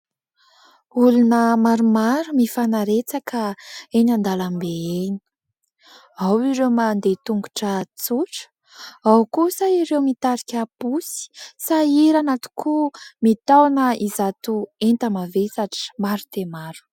Olona maromaro mifanaretsaka eny an-dalambe eny, ao ireo mandeha tongotra tsotra ao kosa ireo mitarika posy, sahirana tokoa mitaona izato enta-mavesatra maro dia maro.